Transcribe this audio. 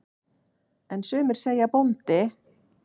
En sumir segja bóndi.